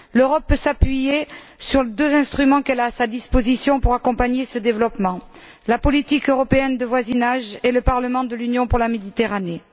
L'Europe peut s'appuyer sur les deux instruments qui sont à sa disposition pour accompagner ce développement la politique européenne de voisinage et le Parlement de l'Union pour la Méditerranée.